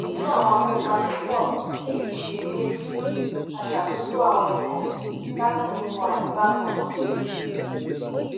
bí àwọn akópa tó pọ̀ sí i ṣe dé a ṣàtúntò àwọn ikọ̀ láti mú wà ní bákan náà